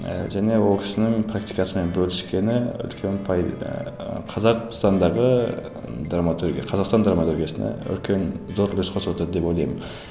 ыыы және ол кісінің практикасымен бөліскені үлкен ыыы қазақстандағы драматургия қазақстан драматургиясына үлкен зор үлес қосып отыр деп ойлаймын